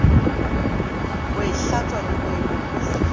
ho e hlatswa le ho